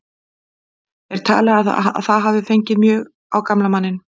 Er talið að það hafi fengið allmjög á gamla manninn.